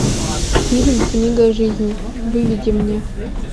фильм книга о жизни выведи мне